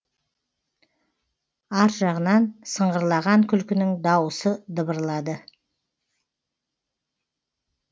ар жағынан сыңғырлаған күлкінің дауысы дыбырлады